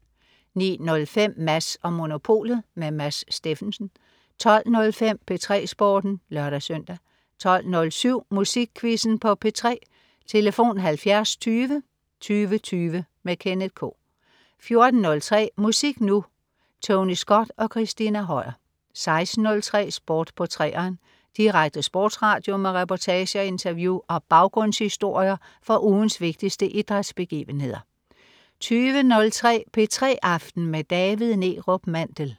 09.05 Mads & Monopolet. Mads Steffensen 12.05 P3 Sporten (lør-søn) 12.07 Musikquizzen på P3. Tlf.: 70 20 20 20. Kenneth K 14.03 Musik Nu! Tony Scott og Christina Høier 16.03 Sport på 3'eren. Direkte sportsradio med reportager, interview og baggrundshistorier fra ugens vigtigste idrætsbegivenheder 20.03 P3 aften med David Neerup Mandel